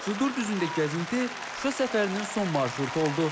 Cıdır düzündə gəzinti Şuşa səfərinin son marşrutu oldu.